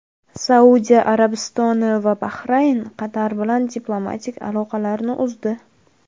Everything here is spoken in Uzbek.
Saudiya Arabistoni va Bahrayn Qatar bilan diplomatik aloqalarini uzdi.